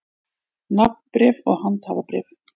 Nafnbréf og handhafabréf.